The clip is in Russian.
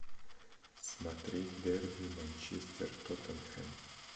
смотреть дерби манчестер тоттенхэм